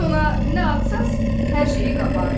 Siz ona nə atsanız, hər şeyi qapar.